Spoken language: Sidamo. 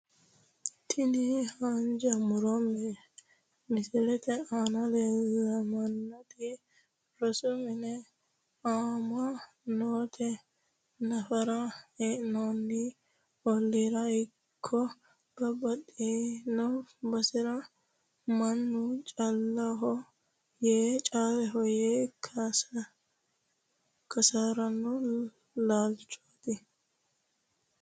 Tini haanja muro misilete aana la'neemoti rosu mine ama'note nafara heen'ani oliira ikko babbaxitino basera mannu caaleho yee kaasirano laalchooti.